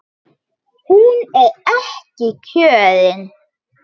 Hún er ekki kjörin.